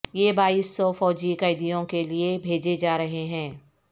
یہ بائیس سو فوجی قیدیوں کے لیے بھیجے جا رہے ہیں